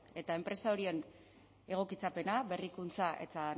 eta enpresa horiei egokitzapena berrikuntza eta